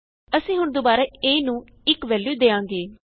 ਅਸੀਂ ਹੁਣ ਦੁਬਾਰਾ a ਨੂੰ 1 ਵੈਲਯੂ ਦਿਆਂਗੇ